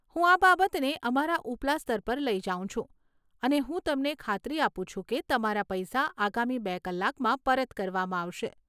હું આ બાબતને અમારા ઉપલા સ્તર પર લઈ જાઉં છું અને હું તમને ખાતરી આપું છું કે તમારા પૈસા આગામી બે કલાકમાં પરત કરવામાં આવશે.